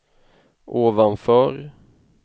ovanför